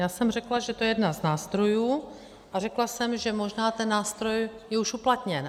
Já jsem řekla, že to je jeden z nástrojů, a řekla jsem, že možná ten nástroj je už uplatněn.